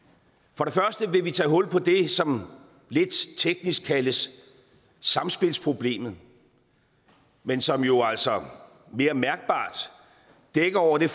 for det første vil vi tage hul på det som lidt teknisk kaldes samspilsproblemet men som jo altså mere mærkbart dækker over det